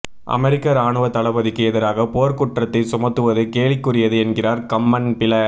America இராணுவ தளபதிக்கு எதிராக போர் குற்றத்தை சுமத்துவது கேலிக்குரியது என்கிறார் கம்மன்பில